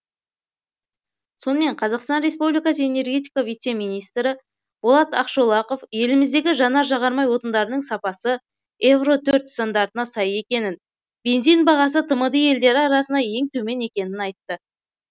сонымен қазақстан республикасы энергетика вице министрі болат ақшолақов еліміздегі жанар жағармай отындарының сапасы евро төрт стандартына сай екенін бензин бағасы тмд елдері арасында ең төмен екенін айтты